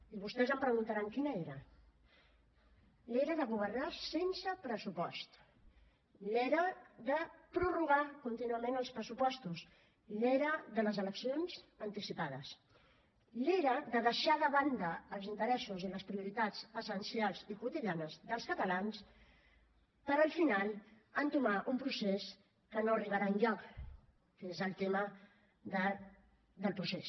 i vostès em preguntaran quina era l’era de governar sense pressupost l’era de prorrogar contínuament els pressupostos l’era de les eleccions anticipades l’era de deixar de banda els interessos i les prioritats essencials i quotidianes dels catalans per al final entomar un procés que no arribarà enlloc que és el tema del procés